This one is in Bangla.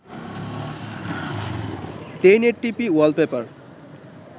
1080p wallpaper